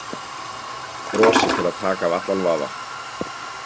Brosi til að taka af allan vafa.